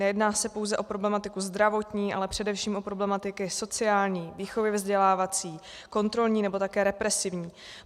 Nejedná se pouze o problematiku zdravotní, ale především o problematiky sociální, výchovně vzdělávací, kontrolní nebo také represivní.